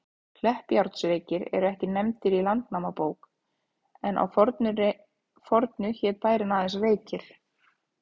Kleppjárnsreykir eru ekki nefndir í Landnámabók, en að fornu hét bærinn aðeins Reykir.